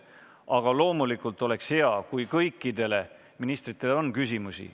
Aga loomulikult oleks hea, kui kõikidele ministritele oleks küsimusi.